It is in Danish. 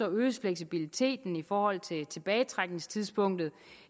øges fleksibiliteten i forhold til tilbagetrækningstidspunktet